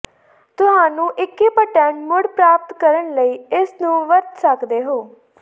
ਤੁਹਾਨੂੰ ਇੰਕ੍ਰਿਪਟਡ ਮੁੜ ਪ੍ਰਾਪਤ ਕਰਨ ਲਈ ਇਸ ਨੂੰ ਵਰਤ ਸਕਦੇ ਹੋ